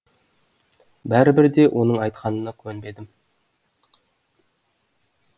бәрібір де оның айтқанына көнбедім